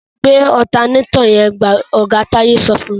Gbé ọ̀tanátọ̀ yẹn! Oga Táyé sọ fún.